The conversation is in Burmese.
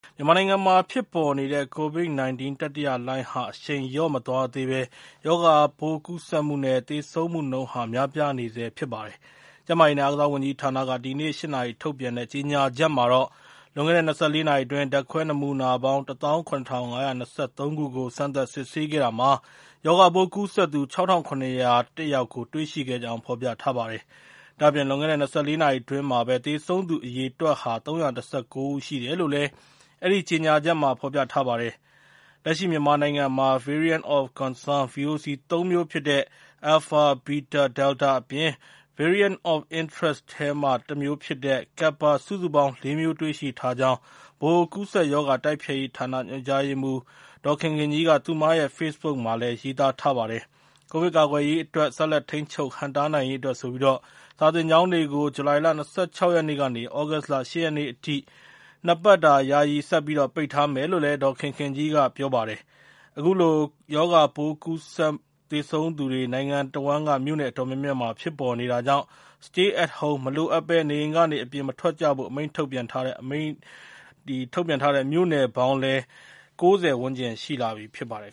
မြန်မာနိုင်ငံမှာ ဖြစ်ပေါ်နေတဲ့ COVID-19 တတိယလှိုင်းဟာ အရှိန်လျော့မသွားသေးဘဲ ရောဂါပိုးကူးစက်မှုနဲ့ သေဆုံးမှုနှုန်းဟာ များပြားနေဆဲ ဖြစ်ပါတယ်။ ကျန်းမာရေးနဲ့ အားကစားဝန်ကြီးဌာနက ဒီကနေ့ည ၈ နာရီမှာ ထုတ်ပြန်တဲ့ကြေညာချက်မှာတော့ လွန်ခဲ့တဲ့ ၂၄ နာရီအတွင်း ဓါတ်ခွဲနမူနာပေါင်း ၁၇,၂၅၃ ခုကို စမ်းသပ် စစ်ဆေးခဲ့တဲ့တာမှာ ရောဂါပိုးကူးစက်နေသူ ၆,၇၀၁ ဦးကို တွေ့ရှိခဲ့ကြောင်း ဖော်ပြထားပါတယ်။ ဒါ့အပြင် လွန်ခဲ့တဲ့ ၂၄ နာရီအတွင်းမှာဘဲ သေဆုံးသူ အရေအတွက်ဟာ ၃၁၉ ဦး ရှိတယ်လို့လည်း အဲဒီ ကြေညာချက်မှာဖော်ပြထားပါတယ်။ လက်ရှိမြန်မာနိုင်ငံမှာ ကိုဗစ် ဗီဇမျိုးကွဲ Variant of concern (VOC) ၃ မျိုးဖြစ်တဲ့ Alpha, Beta, Delta အပြင် Variant of interest ထဲမှာတမျိုးဖြစ်တဲ့ Kappa စုစုပေါင်း ၄ မျိုး တွေ့ရှိထားကြောင်း ည ၈ နာရီသတင်းမှာ ကြေညာသွားပါတယ်။ ကိုဗစ်ကာကွယ်ရေး၊ ဆက်လက်ထိန်းချုပ်ဟန့်တားရေးအတွက် စာသင်ကျောင်းတွေကို ဇူလိုင်လ ၂၆ ရက်ကနေ သြဂုတ်လ ၈ ရက်နေ့အထိ နှစ်ပတ်ယာယီ ဆက်ပိတ်ထားမယ်လို့လည်း သတင်းမှာ ပြောပါတယ်။ အခုလို ရောဂါပိုး ကူးစက်၊ သေဆုံးသူတွေ နိုင်ငံတဝန်းက မြို့နယ် အတော်များများ ဖြစ်ပေါ်နေတာကြောင့် Stay at home မလိုအပ်ဘဲ နေအိမ်ကနေ အပြင်မထွက်ကြဖို့ အမိန့်ထုတ်ပြန်ထားတဲ့ အမိန့်ထုတ်ပြန်ထားတဲ့ မြို့နယ်ပေါင်းလည်း ၉၀ ဝန်းကျင် ရှိလာပြီ ဖြစ်ပါတယ်